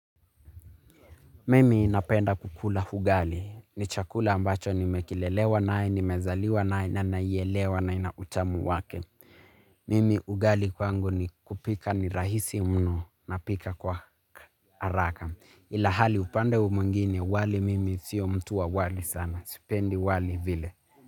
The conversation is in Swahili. Mimi napenda kukula ugali. Ni chakula ambacho nimekilelewa nae, nimezaliwa nae, na naielewa na ina utamu wake. Mimi ugali kwangu ni kupika ni rahisi mno napika kwa haraka. Ila hali upande umwingine wali mimi sio mtu wa wali sana. Sipendi wali vile.